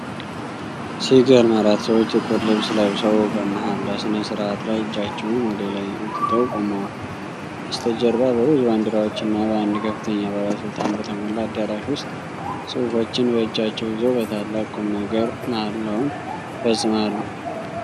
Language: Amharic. ሲገርም! አራት ሰዎች ጥቁር ልብስ ለብሰው በመሃላ ሥነ-ሥርዓት ላይ እጃቸውን ወደ ላይ አንስተው ቆመዋል። በስተጀርባ በብዙ ባንዲራዎችና በአንድ ከፍተኛ ባለሥልጣን በተሞላ አዳራሽ ውስጥ ጽሑፎችን በእጃቸው ይዘው በታላቅ ቁምነገር መሃላውን ይፈጽማሉ።